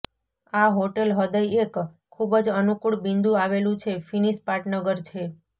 આ હોટેલ હૃદય એક ખૂબ જ અનુકૂળ બિંદુ આવેલું છે ફિનિશ પાટનગર છે